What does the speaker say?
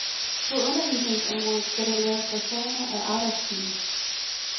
På undervisningsområdet skal der laves reformer af arbejdstiden.